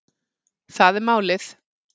Það er málið